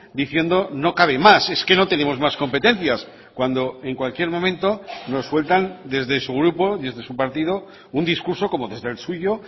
diciendo no cabe más es que no tenemos más competencias cuando en cualquier momento nos sueltan desde su grupo desde su partido un discurso como desde el suyo